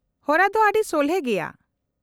-ᱦᱚᱨᱟ ᱫᱚ ᱟᱹᱰᱤ ᱥᱚᱞᱦᱮ ᱜᱮᱭᱟ ᱾